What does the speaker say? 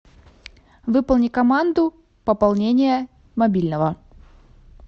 выполни команду пополнение мобильного